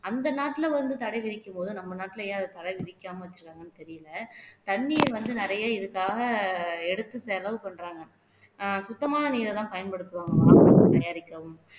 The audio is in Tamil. அந்த நாட்டுல வந்து தடைவிதிக்கும் போது நம்ம நாட்டுல ஏன் அத தடை விதிக்காம வச்சிருக்காங்கன்னு தெரியலே தண்ணீர் வந்து நிறைய இதுக்காக எடுத்து செலவு பண்றாங்க சுத்தமான நீரைதான் பயன்படுத்துவோம் தயாரிக்கிறோம்